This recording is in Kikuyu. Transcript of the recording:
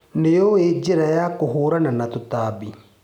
Nĩũĩ njĩra ya kũhũrana na tũtambi.